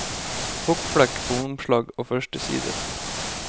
Fuktflekk på omslag og første sider.